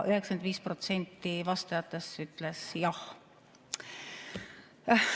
95% vastajatest ütles jah.